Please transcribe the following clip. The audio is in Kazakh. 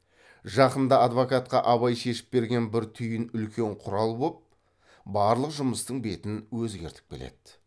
жақында адвокатқа абай шешіп берген бір түйін үлкен құрал боп барлық жұмыстың бетін өзгертіп келеді